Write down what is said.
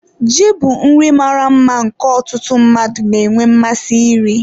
Ji bụ nri mara mma nke ọtụtụ mmadụ na-enwe mmasị iri.